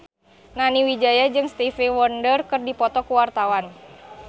Nani Wijaya jeung Stevie Wonder keur dipoto ku wartawan